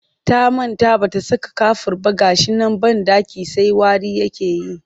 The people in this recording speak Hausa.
Ta manta ba ta saka kafur ba ga shi nan banɗakin sai wari yake yi